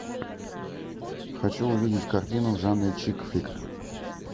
хочу увидеть картину в жанре чикфлик